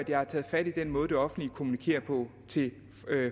jeg har taget fat i den måde det offentlige kommunikerer på til